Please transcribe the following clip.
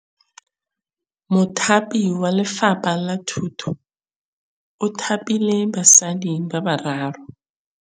Mothapi wa Lefapha la Thutô o thapile basadi ba ba raro.